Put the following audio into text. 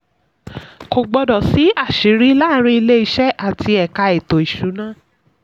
kò gbọ́dọ̀ sí àṣírí láàárín ilé-iṣẹ́ àti ẹ̀ka ètò ìṣúná.